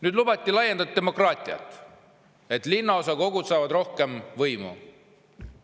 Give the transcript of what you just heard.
Nüüd, lubati laiendatud demokraatiat, et linnaosakogud saavad rohkem võimu.